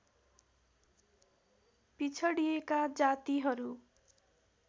पिछडिएका जातिहरू